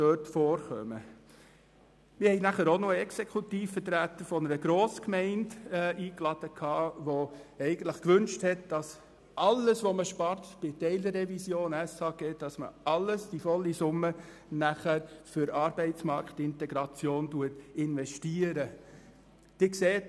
Auch luden wir noch einen Exekutivvertreter einer grossen Gemeinde ein, der wünschte, dass sämtliche Einsparungen bei der Teilrevision in die Arbeitsmarktintegration investiert werden.